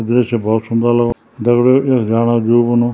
दृश्य बहौत सुन्दर लगनु दगड़ियों युक जाणा दिल कनु।